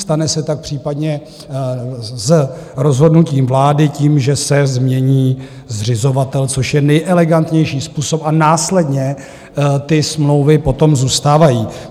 Stane se tak případně z rozhodnutí vlády tím, že se změní zřizovatel, což je nejelegantnější způsob, a následně ty smlouvy potom zůstávají.